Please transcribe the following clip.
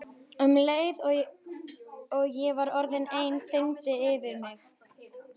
Um leið og ég var orðin ein þyrmdi yfir mig.